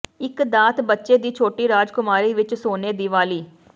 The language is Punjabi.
ਇੱਕ ਦਾਤ ਬੱਚੇ ਦੀ ਛੋਟੀ ਰਾਜਕੁਮਾਰੀ ਵਿਚ ਸੋਨੇ ਦੀ ਵਾਲੀ